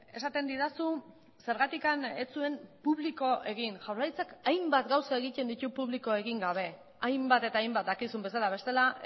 esaten didazu zergatik ez zuen publiko egin jaurlaritzak hainbat gauza egiten ditu publiko egin gabe hainbat eta hainbat dakizun bezala bestela